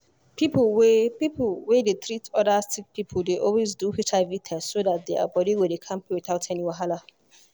people wey people wey dey treat other sick people dey always do hiv test so that their body go dey kampe without any wahala.